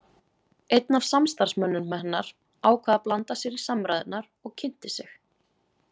Einn af samstarfsmönnum hennar ákvað að blanda sér í samræðurnar og kynnti sig.